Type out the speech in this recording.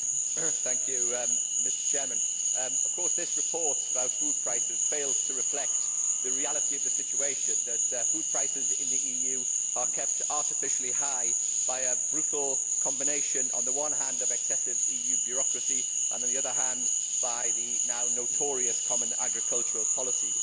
Mr President, of course this report about food prices fails to reflect the reality of the situation that food prices in the EU are kept artificially high by a brutal combination, on the one hand, of excessive EU bureaucracy and, on the other hand, by the now notorious common agricultural policy.